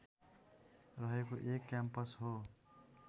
रहेको एक क्याम्पस हो